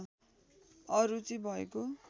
अरुचि भएको